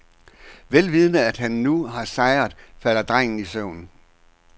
Vel vidende at han nu har sejret, falder drengen i søvn.